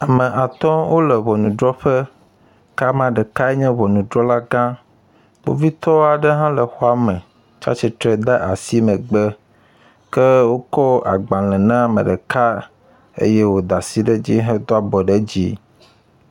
Ame atɔ wo le ŋɔnudrɔƒe ke amea ɖeka nye ŋɔnudrɔlagã. Kpovitɔ aɖe hã le xɔa me tsi atsitre ɖe asi megbe ke wokɔ agbale na ame ɖeka eye woda asi ɖe edzi hedo abɔ ɖe dzi.